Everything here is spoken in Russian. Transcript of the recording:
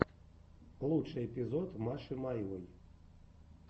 лучший эпизод маши маевой